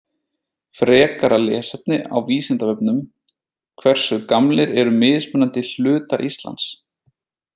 Frekara lesefni á Vísindavefnum Hversu gamlir eru mismunandi hlutar Íslands?